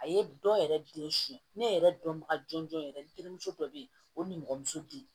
A ye dɔ yɛrɛ den suɲɛ ne yɛrɛ dɔnbaga jɔn jɔn yɛrɛ n terimuso dɔ bɛ yen o nimɔgɔmuso di